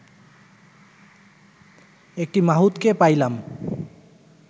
একটি মাহুতকে পাইলাম